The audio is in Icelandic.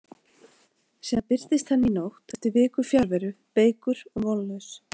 Síðan birtist hann í nótt eftir viku fjarveru, veikur og vonlaus.